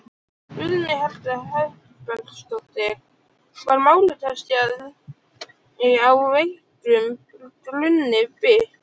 Guðný Helga Herbertsdóttir: Var málið kannski á veikum grunni byggt?